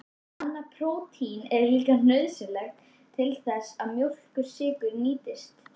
Annað prótín er líka nauðsynlegt til þess að mjólkursykur nýtist.